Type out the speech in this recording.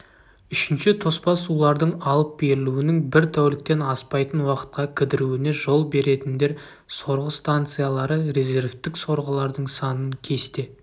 үшінші тоспа сулардың алып берілуінің бір тәуліктен аспайтын уақытқа кідіруіне жол беретіндер сорғы станциялары резервтік сорғылардың санын кесте